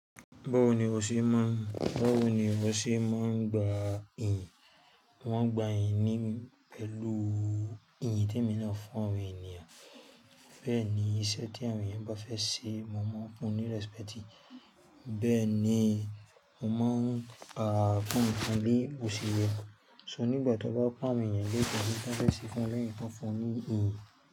Báwo ni o ṣe máa ń, báwo ni o ṣe máa ń gba ìyìn? Mo n gba ìyìn ní pẹ̀lú ìyìntẹ̀ mi náà fún àwọn ènìyàn. Bẹ́ẹ̀ ni iṣẹ́ tí àwọn èèyàn bá fẹ́ ṣe, mo mọ̀ fun ní respect. Bẹ́ẹ̀ ni, mo máa ń gbà fún nkan bí òṣìrẹ̀. So nígbà tí wọ́n bá ko àwọn èèyàn l'ede bí wọ́n fẹ́ ṣe fún wọn, lẹ́yìn ki wọ́n fun won ní ìyin.